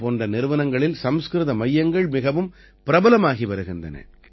M போன்ற நிறுவனங்களில் சம்ஸ்கிருத மையங்கள் மிகவும் பிரபலமாகி வருகின்றன